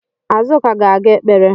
Azuka ga-aga ekpere